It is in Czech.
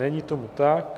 Není tomu tak.